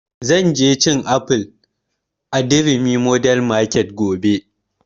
Zan je cin aful a durumi modern market gobe